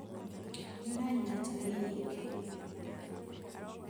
Nĩuranyua njohi nyingĩ